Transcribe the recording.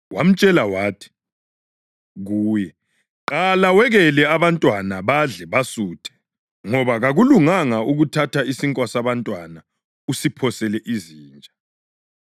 Wamtshela wathi kuye, “Qala wekele abantwana badle basuthe, ngoba kakulunganga ukuthatha isinkwa sabantwana usiphosele izinja.”